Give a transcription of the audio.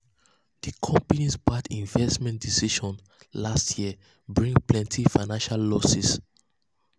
di company's bad investment decisions last year bring plenty financial losses.